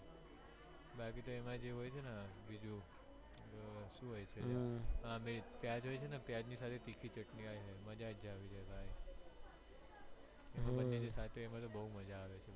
બાકી તો એમજે હોય છે બીજું સુ હોય છે પ્યાજજ હોય છે પ્યાજ એની સાથે તીખી ચટણી હોય છે મજ્જાજ આવી જાય